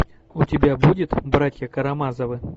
у тебя будет братья карамазовы